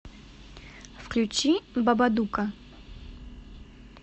включи бабадука